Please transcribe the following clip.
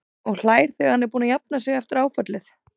Og hlær þegar hann er búinn að jafna sig eftir áfallið.